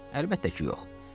Əlbəttə ki, yox.